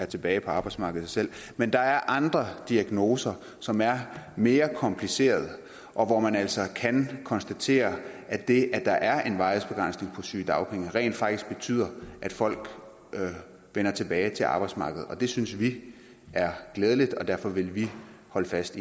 tilbage på arbejdsmarkedet selv men der er andre diagnoser som er mere komplicerede og hvor man altså kan konstatere at det at der er en varighedsbegrænsning på sygedagpenge rent faktisk betyder at folk vender tilbage til arbejdsmarkedet det synes vi er glædeligt og derfor vil vi holde fast